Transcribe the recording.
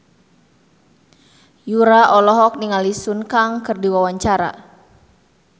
Yura olohok ningali Sun Kang keur diwawancara